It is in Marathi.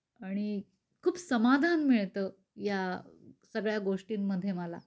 आणि खूप समाधान मिळतया सगळ्या गोष्टींमध्ये मला.